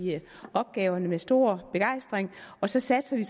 opgaverne med stor begejstring og så satser vi